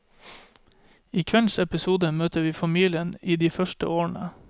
I kveldens episode møter vi familien i de første årene.